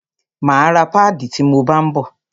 Máa ra páàdì ti mo bá ń bọ̀.